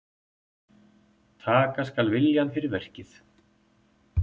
Taka skal viljann fyrir verkið.